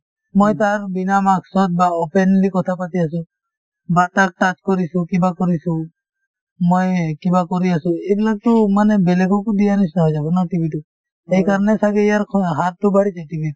মই তাৰ বিনা mask ত বা openly কথা পাতি আছো বা তাক touch কৰিছো কিবা কৰিছো মই এই কিবা কৰি আছো এইবিলাকতো মানে বেলেগকো দিয়াৰ নিচিনাই হৈ যাব ন TB তো সেইকাৰণে ছাগে ইয়াৰ স হাৰতো বাঢ়িছে TB ৰ